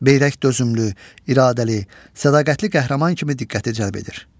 Beyrək dözümlü, iradəli, sədaqətli qəhrəman kimi diqqəti cəlb edir.